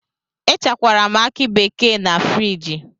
Echekwara m akị bekee a na friji.